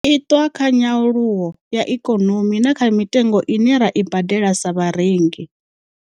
itwa kha nyaluwo ya ikonomi na kha mitengo ine ra i badela sa vharengi.